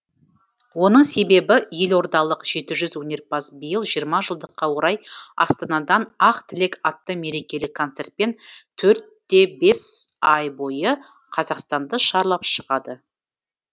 оның себебі елордалық жеті жүз өнерпаз биыл жиырма жылдыққа орай астанадан ақ тілек атты мерекелік концертпен төрт те бес ай бойы қазақстанды шарлап шығады